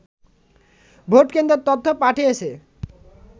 ভোটকেন্দ্রের তথ্য পাঠিয়েছে